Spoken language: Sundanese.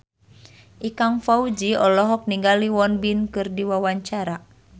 Ikang Fawzi olohok ningali Won Bin keur diwawancara